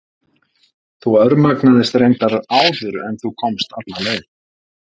Þú örmagnaðist reyndar áður en þú komst alla leið.